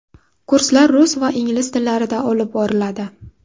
Kurslar rus va ingliz tillarida olib boriladi.